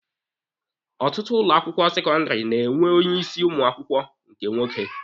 Ọtụtụ ụlọ akwụkwọ sekọndịrị na-enwe onye isi ụmụ akwụkwọ nke nwoke.